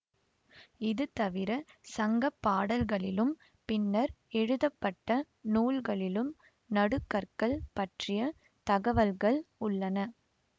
இது தவிரச் சங்க பாடல்களிலும் பின்னர் எழுதப்பட்ட நூல்களிலும் நடுகற்கள் பற்றிய தகவல்கள் உள்ளன